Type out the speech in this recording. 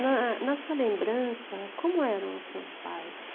Na na sua lembrança, como eram os seus pais?